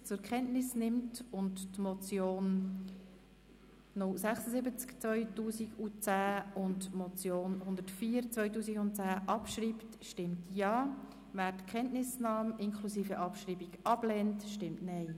Wer diesen zur Kenntnis nimmt und die beiden Motionen abschreibt, stimmt Ja, wer dies ablehnt, stimmt Nein.